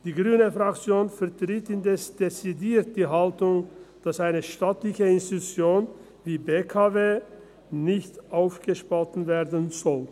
Die grüne Fraktion vertritt indes dezidiert die Haltung, dass eine staatliche Institution wie die BKW nicht aufgespaltet werden soll.